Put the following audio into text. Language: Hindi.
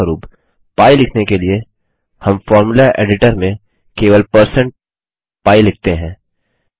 उदाहरणस्वरुप पी लिखने के लिए हम फ़ॉर्मूला एडिटर में केवल160pi लिखते हैं